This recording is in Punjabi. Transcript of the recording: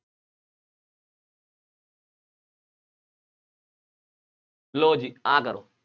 ਲਉ ਜੀ ਆਹ ਕਰੋ,